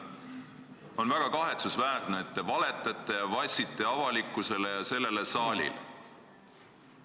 On väga kahetsusväärne, et te valetate ja vassite avalikkusele ja sellele saalile.